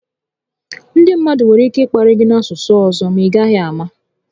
Ndị mmadụ nwere ike ị kparị gị n'asụsụ ọzọ ma i gaghị àmà